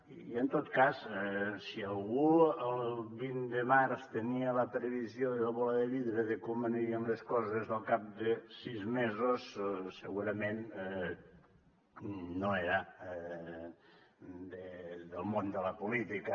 i en tot cas si algú el vint de març tenia la previsió de la bola de vidre de com anirien les coses al cap de sis mesos segurament no era del món de la política